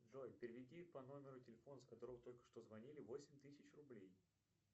джой переведи по номеру телефона с которого только что звонили восемь тысяч рублей